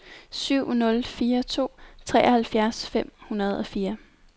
syv nul fire to treoghalvfjerds fem hundrede og fire